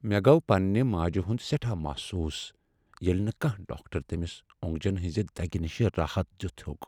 مےٚ گوٚو پنٛنہ ماجہِ ہُند سیٹھاہ محسوس ییٚلہ نہٕ کانٛہہ ڈاکٹر تمِس او٘نگجن ہنزِ دگہِ نِش راحت دِتھ ہیوٚك ۔